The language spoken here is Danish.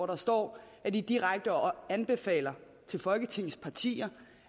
der står at de direkte anbefaler folketingets partier